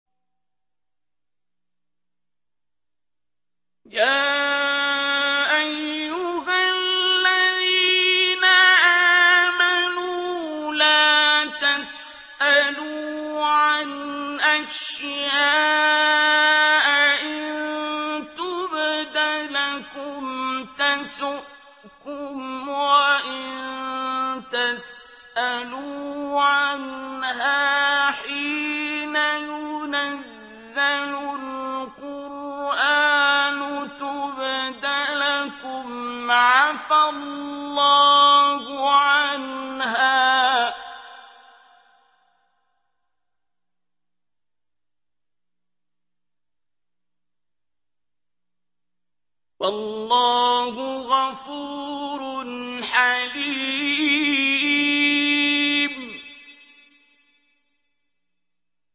يَا أَيُّهَا الَّذِينَ آمَنُوا لَا تَسْأَلُوا عَنْ أَشْيَاءَ إِن تُبْدَ لَكُمْ تَسُؤْكُمْ وَإِن تَسْأَلُوا عَنْهَا حِينَ يُنَزَّلُ الْقُرْآنُ تُبْدَ لَكُمْ عَفَا اللَّهُ عَنْهَا ۗ وَاللَّهُ غَفُورٌ حَلِيمٌ